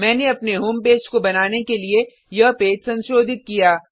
मैंने अपने home page को बनाने के लिए यह पेज संशोधित किया